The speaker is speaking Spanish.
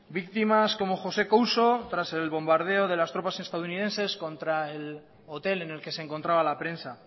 víctimas como josé couso tras el bombardeo de las tropas estadounidenses contra el hotel en el que se encontraba la prensa